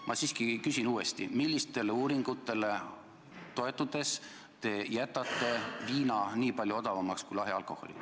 Ma siiski küsin uuesti: millistele uuringutele toetudes te jätate viina võrreldes lahja alkoholiga nii odavaks?